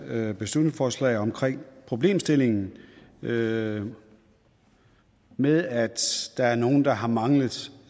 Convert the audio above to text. beslutningsforslag omkring problemstillingen med med at der er nogle der har manglet